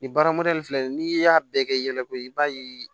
Nin baara mɔdɛli filɛ nin ye n'i y'a bɛɛ kɛ i yɛrɛ ko i b'a ye